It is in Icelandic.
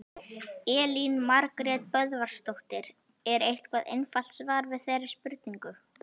Elín Margrét Böðvarsdóttir: Er eitthvað einfalt svar við þeirri spurningu?